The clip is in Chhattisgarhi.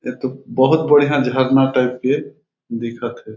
ए तो बहुत बढ़िया झरना टाइप के दिखत हे।